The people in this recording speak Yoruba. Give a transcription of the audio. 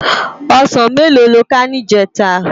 Òsán méló ló ká nijètá?